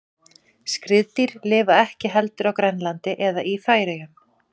Skriðdýr lifa ekki heldur á Grænlandi eða í Færeyjum.